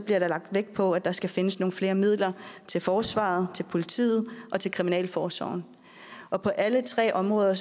der lagt vægt på at der skal findes nogle flere midler til forsvaret til politiet og til kriminalforsorgen og alle tre områder